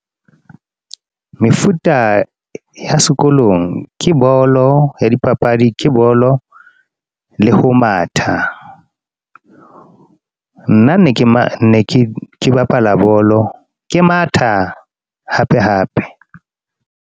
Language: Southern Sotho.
Mefuta ya sekolong ke bolo ya dipapadi, ke bolo le ho matha. Nna ne ke ke bapala bolo, ke matha hape hape.